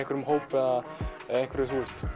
hópi eða einhverju